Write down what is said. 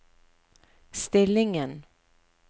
stillingen